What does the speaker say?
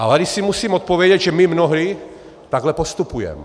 A tady si musím odpovědět, že my mnohdy takhle postupujeme.